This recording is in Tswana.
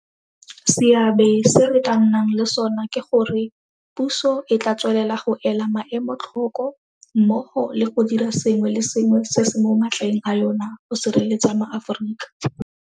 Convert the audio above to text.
Seabe se re tla nnang le sona ke gore, puso e tla tswelela go ela maemo tlhoko mmogo le go dira sengwe le sengwe se se mo matleng a yona go sireletsa maAforika.